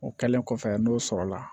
O kɛlen kɔfɛ n'o sɔrɔla